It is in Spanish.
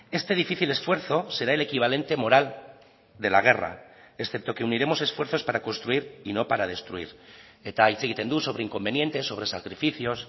este difícil esfuerzo será el equivalente moral de la guerra excepto que uniremos esfuerzos para construir y no para destruir eta hitz egiten du sobre inconvenientes sobre sacrificios